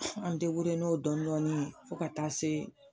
An n'o dɔɔni dɔɔni ye fo ka taa se